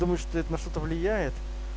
думаешь это на что-то влияет